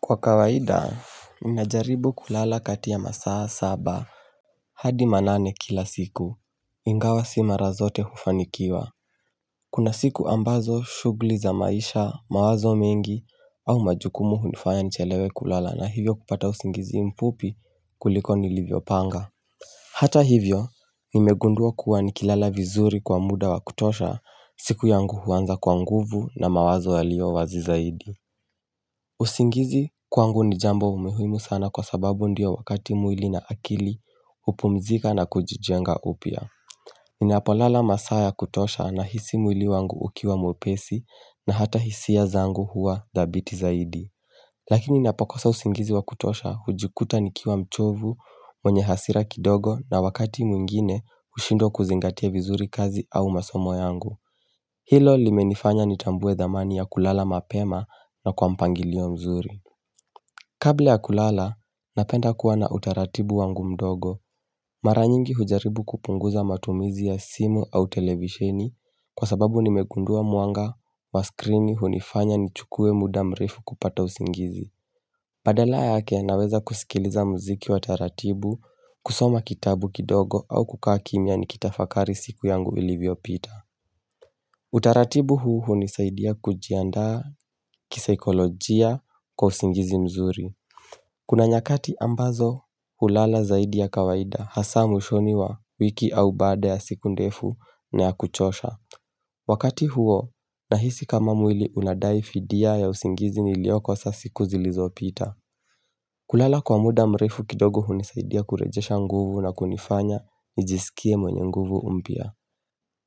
Kwa kawaida ninajaribu kulala kati ya masaa saba hadi manane kila siku ingawa si mara zote hufanikiwa Kuna siku ambazo shughli za maisha mawazo mingi au majukumu hunifanya nichelewe kulala na hivyo kupata usingizi mfupi kuliko nilivyo panga Hata hivyo nimegundua kuwa nikilala vizuri kwa muda wa kutosha siku yangu huanza kwa nguvu na mawazo yaliyo wazi zaidi usingizi kwangu ni jambo muhimu sana kwa sababu ndio wakati mwili na akili hupumzika na kujijenga upya Ninapo lala masaa ya kutosha nahisi mwili wangu ukiwa mwepesi na hata hisi zangu huwa dhabiti zaidi Lakini ninapo kosa usingizi wakutosha hujikuta nikiwa mchovu mwenye hasira kidogo na wakati mwingine hushindwa kuzingatia vizuri kazi au masomo yangu Hilo limenifanya nitambue dhamani ya kulala mapema na kwa mpangilio mzuri Kabla ya kulala, napenda kuwa na utaratibu wangu mdogo Mara nyingi hujaribu kupunguza matumizi ya simu au televisheni Kwa sababu nimegundua mwanga wa screeni hunifanya nichukue muda mrefu kupata usingizi Badala yake naweza kusikiliza muziki wa taratibu kusoma kitabu kidogo au kukaa kimya nikitafakari siku yangu ilivyo pita Utaratibu huu hunisaidia kujianda kisaikolojia kwa usingizi mzuri Kuna nyakati ambazo hulala zaidi ya kawaida hasa mwishoni wa wiki au baada ya siku ndefu na ya kuchosha Wakati huo nahisi kama mwili unadaifidia ya usingizi nilioko sasa siku zilizopita kulala kwa muda mrefu kidogo hunisaidia kurejesha nguvu na kunifanya nijisikie mwenye nguvu mpya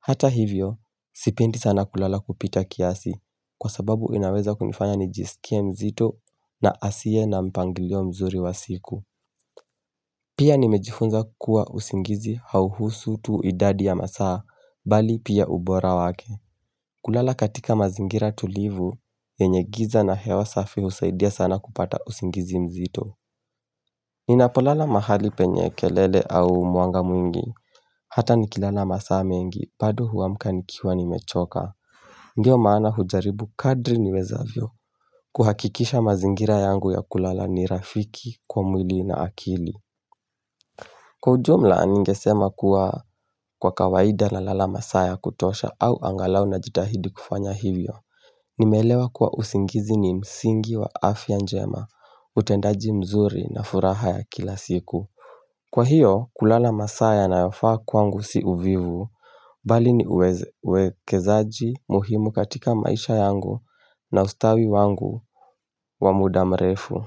Hata hivyo, sipendi sana kulala kupita kiasi, kwa sababu inaweza kunifanya nijisikie mzito na asiye na mpangilio mzuri wa siku. Pia nimejifunza kuwa usingizi hauhusu tu idadi ya masaa, bali pia ubora wake. Kulala katika mazingira tulivu, yenye giza na hewa safi husaidia sana kupata usingizi mzito. Ninapo lala mahali penye kelele au mwanga mwingi Hata ni kilala masaa mengi, bado huamka nikiwa nimechoka ndio maana hujaribu kadri ni wezavyo kuhakikisha mazingira yangu ya kulala ni rafiki, kwa mwili na akili Kwa ujumla ningesema kuwa kwa kawaida nalala masaa ya kutosha au angalau na jitahidi kufanya hivyo Nimeelewa kuwa usingizi ni msingi wa afya njema, utendaji mzuri na furaha ya kila siku Kwa hiyo, kulala masaa yanayofa kwangu si uvivu, bali ni uwekezaji muhimu katika maisha yangu na ustawi wangu wa muda mrefu.